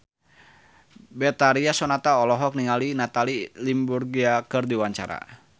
Betharia Sonata olohok ningali Natalie Imbruglia keur diwawancara